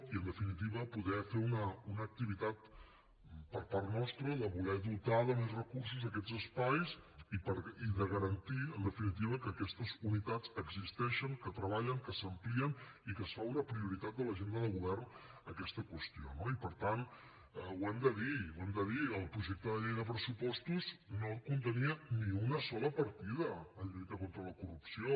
i en definitiva poder fer una activitat per part nostra de voler dotar de més recursos aquests espais i de garantir en definitiva que aquestes unitats existeixen que treballen que s’amplien i que es fa una prioritat en l’agenda de govern d’aquesta qüestió no i per tant ho hem de dir ho hem de dir el projecte de llei de pressupostos no contenia ni una sola partida per a lluita contra la corrupció